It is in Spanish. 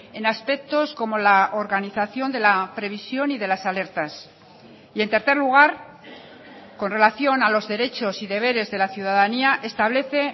en aspectos como la organización de la previsión y de las alertas y en tercer lugar con relación a los derechos y deberes de la ciudadanía establece